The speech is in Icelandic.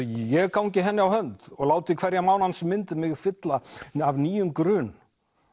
ég gangi henni á hönd og láti hverja mánans mynd mig fylla af nýjum grun